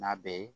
N'a bɛ ye